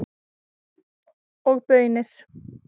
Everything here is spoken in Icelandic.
Og baunir.